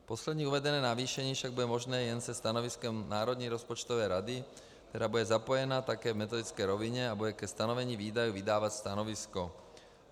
Poslední uvedené navýšení však bude možné jen se stanoviskem Národní rozpočtové rady, která bude zapojena také v metodické rovině a bude ke stanovení výdajů vydávat stanovisko.